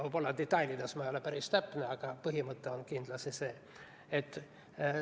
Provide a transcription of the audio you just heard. Võib-olla detailides ma ei ole päris täpne, aga põhimõte on kindlasti selline.